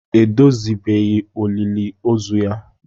Edozibeghị olili ozu ya